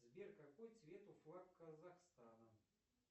сбер какой цвет у флага казахстана